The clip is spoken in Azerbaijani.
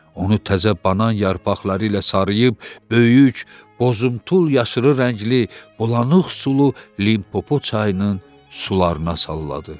Onu təzə banan yarpaqları ilə sarıyıb, böyük bozuntul yaşılı rəngli, bulanıq sulu Limpopo çayının sularına salladı.